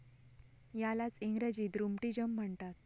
यालाच इंग्रजीत रूमटिज़म म्हणतात.